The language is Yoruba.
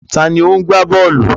Ta ni ó ń gbá bọ́ọ̀lù?